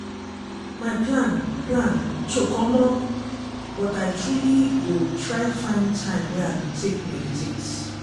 my plan plan choke omo!!! but i truely go try find time wey i go take meditate.